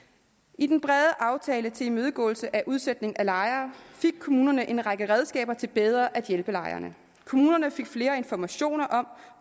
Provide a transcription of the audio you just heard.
i den brede aftale til imødegåelse af udsætning af lejere fik kommunerne en række redskaber til bedre at hjælpe lejerne kommunerne fik flere informationer om